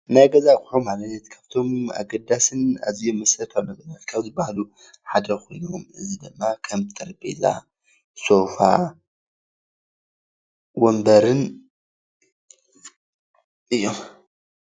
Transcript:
ናይ ገዛ ኣቁሑ ማለት ካብቶም ኣገዳስን ኣዝዩም መሰረታዊን ነገራት ካብ ዝበሃሉ ሓደ ኮይኖም እዚ ድማ ከም ጠረጰዛ ፣ሴፋ፣ ወንበርን እዩም።